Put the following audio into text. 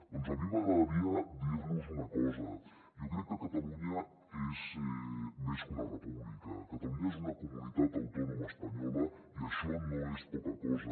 doncs a mi m’agradaria dir los una cosa jo crec que catalunya és més que una república catalunya és una comunitat autònoma espanyola i això no és poca cosa